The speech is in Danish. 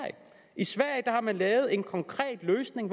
i sverige har man lavet en konkret løsning